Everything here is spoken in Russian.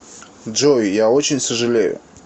джой я очень сожалею